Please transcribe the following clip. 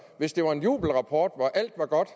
hvis det var en jubelrapport hvor alt var godt